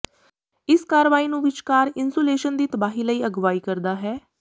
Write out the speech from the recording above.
ਇਸ ਕਾਰਵਾਈ ਨੂੰ ਵਿਚਕਾਰ ਇਨਸੂਲੇਸ਼ਨ ਦੀ ਤਬਾਹੀ ਲਈ ਅਗਵਾਈ ਕਰਦਾ ਹੈ